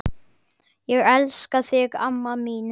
Elska þig amma mín.